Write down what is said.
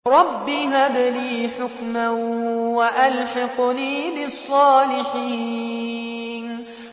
رَبِّ هَبْ لِي حُكْمًا وَأَلْحِقْنِي بِالصَّالِحِينَ